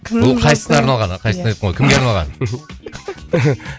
бұл қайсысына арналған қайсысына деппін ғой кімге арналған